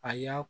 A y'a